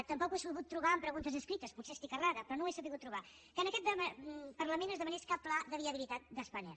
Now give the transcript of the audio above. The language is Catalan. tampoc ho he sabut trobar en preguntes escrites potser estic errada però no ho he sabut trobar que en aquest parlament es demanés cap pla de viabilitat de spanair